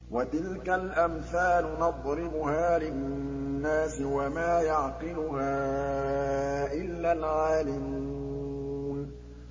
وَتِلْكَ الْأَمْثَالُ نَضْرِبُهَا لِلنَّاسِ ۖ وَمَا يَعْقِلُهَا إِلَّا الْعَالِمُونَ